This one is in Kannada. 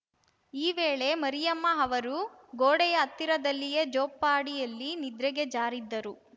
ಈ ವೇಳೆ ಮರಿಯಮ್ಮ ಅವರು ಗೋಡೆಯ ಹತ್ತಿರದಲ್ಲಿಯೇ ಜೋಪಾಡಿಯಲ್ಲಿ ನಿದ್ರೆಗೆ ಜಾರಿದ್ದರು